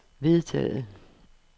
vedtaget